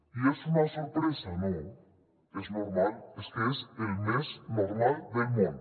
i és una sorpresa no és normal és que és el més normal del món